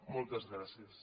moltes gràcies